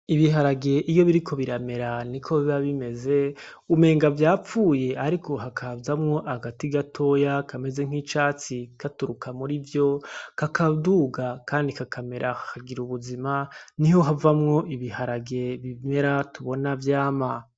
Ibiharage iyo biriko biramera niko biba bimeze, umenga vyapfuye ariko hakazamwo agati gatoya kameze nk’icatsi katuruka muri vyo, kakaduga kandi kakamera, kakagira ubuzima, niho havamwo ibiharage bimera tubona vyama.